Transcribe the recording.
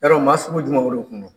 Yarɔ maa sugu jumɛw de kun don ?